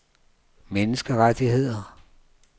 menneskerettigheder